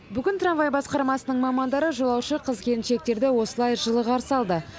бүгін трамвай басқармасының мамандары жолаушы қыз келіншектерді осылай жылы қарсы алды